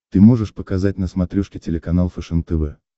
ты можешь показать на смотрешке телеканал фэшен тв